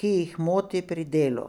ki jih moti pri delu.